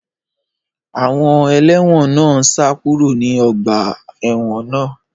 Àwọn ẹlẹ́wọ̀n náà ń sá kúrò ní ọgbà ẹ̀wọ̀n náà